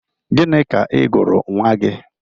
Gịnị ka ị gụrụ nwa gị?